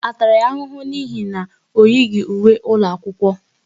A tara ya ahụhụ n'ihi na o yighi uwe ụlọ akwụkwọ?